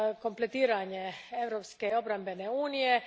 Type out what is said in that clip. kompletiranje Europske obrambene unije.